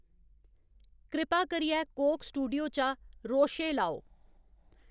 कृपा करियै Coke Studio चा 'रोशे' लाओ